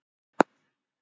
Marri